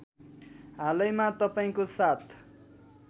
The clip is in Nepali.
हालैमा तपाईँको साथ